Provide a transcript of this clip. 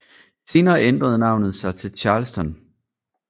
Senere ændrede navnet sig til Charleston